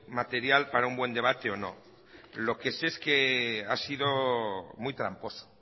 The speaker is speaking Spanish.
material para un buen debate o no lo que sé es que ha sido muy tramposo